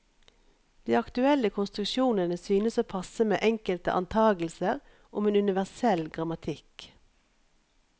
De aktuelle konstruksjonene synes å passe med enkelte antagelser om en universell grammatikk.